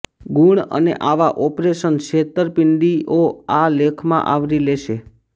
ગુણ અને આવા ઓપરેશન છેતરપિંડીંઓ આ લેખમાં આવરી લેશે